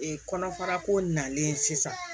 Ee kɔnɔfara ko nalen sisan